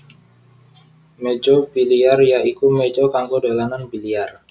Méja biliar ya iku méja kanggo dolanan biliar